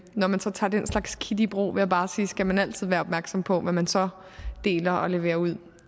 når man tager tager den slags kit i brug vil jeg bare sige skal man altid være opmærksom på hvad man så deler og leverer ud